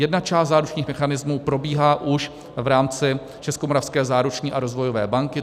Jedna část záručních mechanismů probíhá už v rámci Českomoravské záruční a rozvojové banky.